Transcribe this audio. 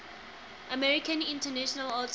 american international auto